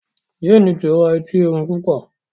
Jane tí rà Ẹti Ẹrin púpọ